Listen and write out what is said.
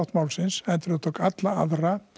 málsins heldur tók alla aðra